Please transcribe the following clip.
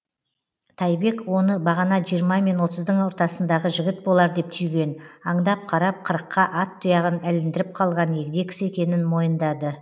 тайбек оны бағана жиырма мен отыздың ортасындағы жігіт болар деп түйген аңдап қарап қырыққа ат тұяғын іліндіріп қалған егде кісі екенін мойындады